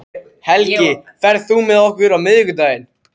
Helgi, ferð þú með okkur á miðvikudaginn?